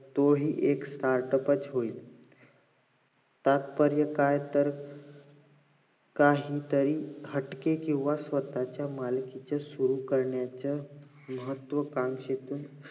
तो हि एक startup च होईल तात्पर्य काय तर काही तरी हटके कि स्वतःच्या मालकीचे सुरु करण्याचे महत्वकांक्षेतून